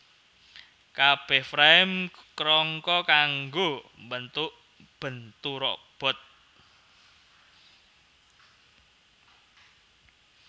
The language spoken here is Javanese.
Kabeh Frame krangka kanggo bentuk bentu robot